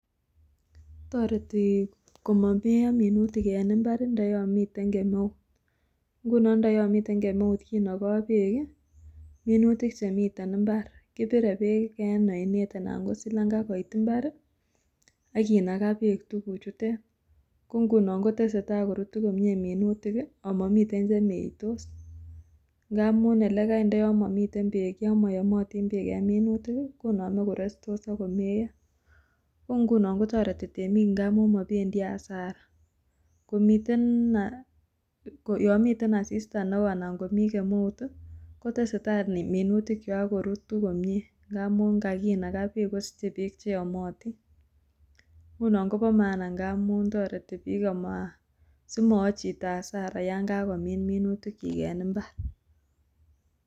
Toreti komomeyo minutik en imbar ndo yomiten kemeut, ingunon ndo yomiten kemeut kinoyo beek i minutik chemiten imbar, kibire beek en oinet anan ko silanga kiot imbar ak kinaka beek tukuk chutet, ko ingunon kotesetai korutu komyee minutik i omomiten chemeitos, ng'amun elekai ndo momiten beek, yom moyomotin beek en minutik konome korestos ak komeyo, ko ingunon kotoreti temik ng'amun mobendi hasara, yomiten asista neo anan komi kemeut i kotesetai mintikyok korutu komie, ng'amun kakinaka beek kosiche beek cheyomotin, ng'unon koba mahana ng'amun toreti bik simowo chito hasara yan kakomin minutikyik en imbar.